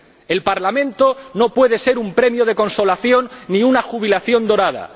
El Parlamento no puede ser un premio de consolación ni una jubilación dorada.